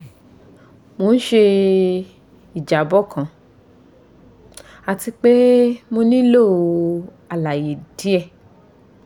mo n ṣe ijabọ kan ati pe mo nilo alaye diẹ